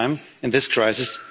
lost generation,